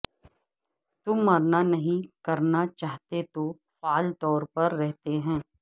تم مرنا نہیں کرنا چاہتے تو فعال طور پر رہتے ہیں